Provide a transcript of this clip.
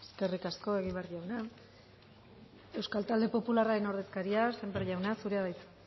eskerrik asko egibar jauna euskal talde popularraren ordezkaria sémper jauna zurea da hitza